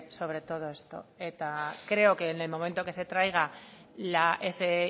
sobre todo esto creo que en el momento que se traiga ese